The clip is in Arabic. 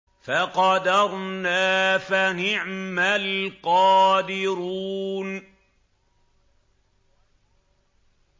فَقَدَرْنَا فَنِعْمَ الْقَادِرُونَ